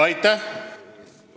Aitäh!